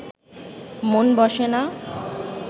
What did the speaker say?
মন বসে না